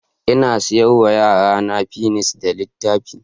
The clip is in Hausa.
Ina saya wa yarinyata fensir da littafi.